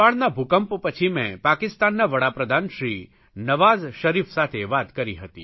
નેપાળના ભૂકંપ પછી મેં પાકિસ્તાના વડાપ્રધાનશ્રી નવાઝ શરીફ સાથે વાત કરી હતી